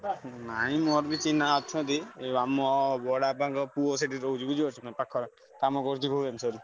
ନାଇଁ ମୋର ବି ଚିହ୍ନା ଅଛନ୍ତି ଯୋଉ ଆମ ବଡବାପାଙ୍କ ପୁଅ ସେଠି ରହୁଛି ବୁଝିପାରୁଛୁନା କାମ କରୁଛି ଭୁବନେଶ୍ବରରେ।